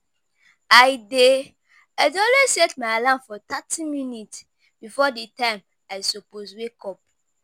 I dey I dey always set my alarm for thirty minutes before di time i suppose wake up.